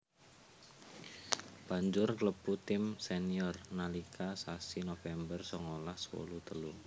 Banjur klebu tim senior nalika sasi November songolas wolu telu